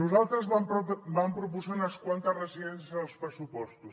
nosaltres vam proposar unes quantes residències als pressupostos